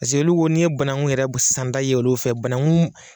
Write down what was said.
olu ko n'i ye banaku yɛrɛ santa y'olu fɛ banaku